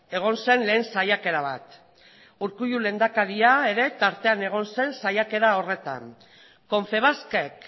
egon zen lehen saiakera bat urkullu lehendakaria ere tartean egon zen saiakera horretan confebaskek